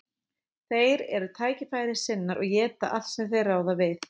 Þeir eru tækifærissinnar og éta allt sem þeir ráða við.